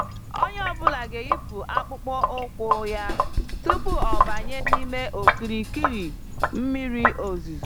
Onyé ọ bụla ga-eyipụ akpụkpọ ụkwụ yá tupu ọ banye n'ime okirikiri mmiri ozuzo.